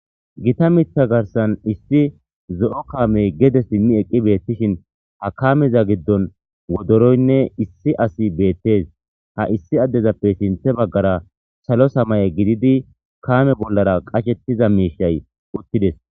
Gita miththa gaaththan issi zo'o kaamey gede simmi eqqidishin ha kaameza giddon wodoroynne issi asi beettes. Ha issi asezappe sinththe baggara salo samaye gididi kaame bollara qachchida miishshay uttides.